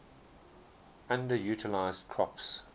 underutilized crops